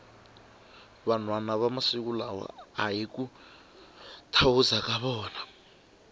vanhwana va masiku lawa ahi ku thawuza ka vona